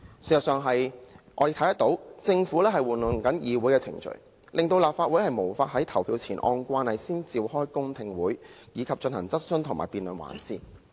事實上，我們看到政府正在玩弄議會程序，令立法會無法在投票前按慣例先召開公聽會，以及進行質詢和辯論環節。